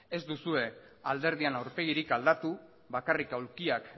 ez duzue alderdian aurpegirik aldatu bakarrik aulkiak